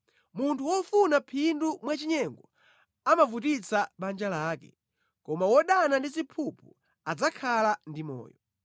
Munthu wofuna phindu mwachinyengo amavutitsa banja lake, koma wodana ndi ziphuphu adzakhala ndi moyo.